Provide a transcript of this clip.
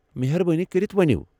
مہربٲنی كرِتھ ؤنِو۔